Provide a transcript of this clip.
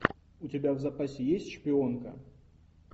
у тебя в запасе есть шпионка